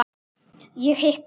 Ég hitti